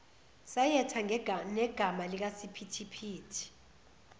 sayetha negama likasiphithiphithi